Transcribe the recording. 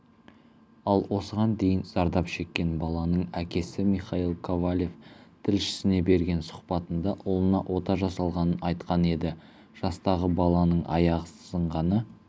ал осыған дейін зардап шеккен баланың әкесі михаил ковалев тілшісіне берген сұхбатында ұлына ота жасалғанын айтқан еді жастағы баланың аяғы сынғаны